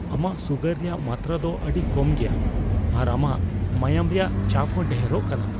ᱟᱢᱟᱜ ᱥᱩᱜᱟᱨ ᱨᱮᱭᱟᱜ ᱢᱟᱛᱨᱟ ᱫᱚ ᱟᱹᱰᱤ ᱠᱚᱢ ᱜᱮᱭᱟ, ᱟᱨ ᱟᱢᱟᱜ ᱢᱟᱸᱭᱟᱱᱝ ᱨᱮᱭᱟᱜ ᱪᱟᱯ ᱦᱚᱸ ᱰᱷᱮᱨᱚᱜ ᱠᱟᱱᱟ ᱾